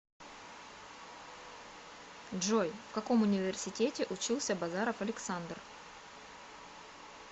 джой в каком университете учился базаров александр